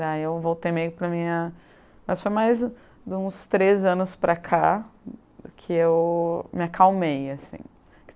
Daí eu voltei para a minha... Mas foi mais de uns três anos para cá que eu me acalmei assim.